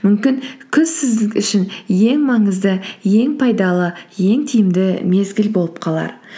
мүмкін күз сіз үшін ең маңызды ең пайдалы ең тиімді мезгіл болып қалар